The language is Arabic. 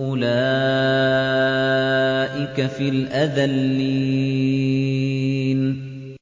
أُولَٰئِكَ فِي الْأَذَلِّينَ